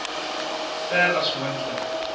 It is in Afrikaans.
ver as moontlik